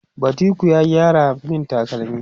badiko ya gyara min takalmi